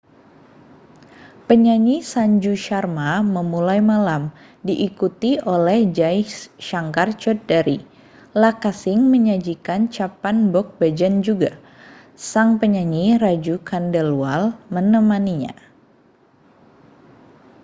penyanyi sanju sharma memulai malam diikuti oleh jai shankar choudhary lakkha singh menyajikan chhappan bhog bhajan juga sang penyanyi raju khandelwal menemaninya